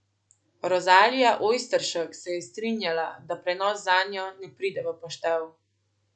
Rozalija Ojsteršek se je strinjala, da prenos zanjo ne pride v poštev.